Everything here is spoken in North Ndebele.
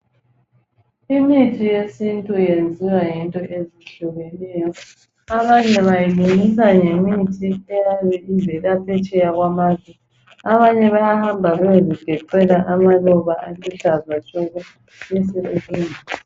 Imithi yesintu iyenziwa ngezinto ezihlukeneyo, Abanye bayilungisa ngemithi eyabe ivela phetsheya kwamazwe. Abanye bayahamba beye zigecela amaluba aluhlaza tshoko besebelungisa.